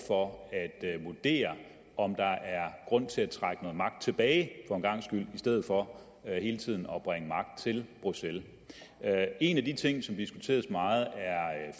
for at vurdere om der er grund til at trække noget magt tilbage for en gangs skyld i stedet for hele tiden at bringe magt til bruxelles en af de ting som diskuteres meget er